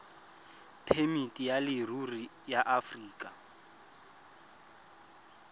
phemiti ya leruri ya aforika